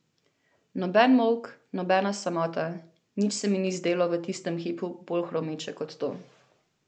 Noben molk, nobena samota, nič se mi ni zdelo v tistem hipu bolj hromeče kot to.